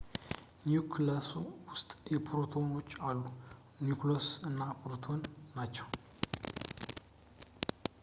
ኒውክለሱ ሁለት ፓርቲክሎች አሉት ኒውትሮንስ እና ፕሮቶንስ ናቸው